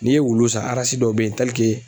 N'i ye wulu san arasi dɔw be yen tɛlike